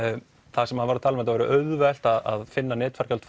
þar sem hann var að tala um að það væri auðvelt að finna